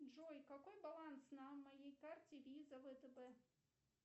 джой какой баланс на моей карте виза втб